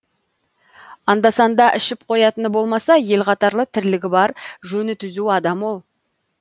анда санда ішіп қоятыны болмаса ел қатарлы тірлігі бар жөні түзу адам ол